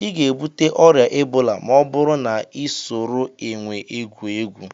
Ị ga-ebute ọrịa ebola ma ọ bụrụ na ị soro énwè egwu egwu